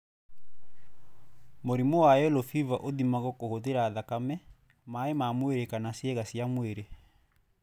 Mũrimũ wa yellow fever ũthimagwo kũhũthĩra thakame, maĩ ma mwĩrĩ kana ciĩga cia mwĩrĩ.